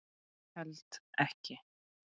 Held ekki.